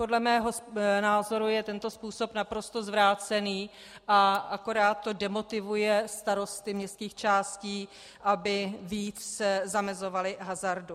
Podle mého názoru je tento způsob naprosto zvrácený a akorát to demotivuje starosty městských částí, aby více zamezovali hazardu.